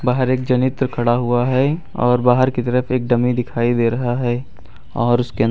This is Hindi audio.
बाहर एक जनित्र खड़ा हुआ है और बाहर की तरफ एक डमी दिखाई दे रहा है और उसके अं--